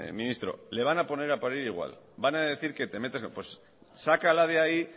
ministro le van a poner a parir igual van a decir que te metes sácala de ahí